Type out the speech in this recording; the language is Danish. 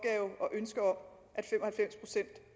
ønske om